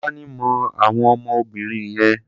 Tolani mọ àwọn ọmọ obìnrin yẹn.